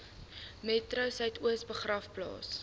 metro suidoos begraafplaas